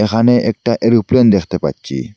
এখানে একটা এরোপ্লেন দেখতে পাচ্ছি।